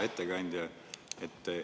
Hea ettekandja!